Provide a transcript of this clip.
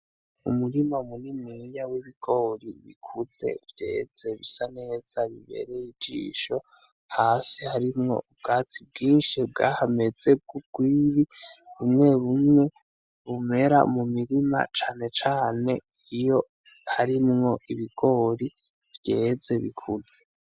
Umurima muniniya w'ibigori bikuze vyeze bisa neza bibereye ijisho hasi harimwo ubwatsi bwinshi bwahameze bw'urwiri bumwe bumwe bumera mumirima cane cane iyo harimwo ibigori vyeze bikuze.